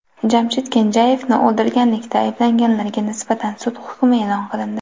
Jamshid Kenjayevni o‘ldirganlikda ayblanganlarga nisbatan sud hukmi e’lon qilindi.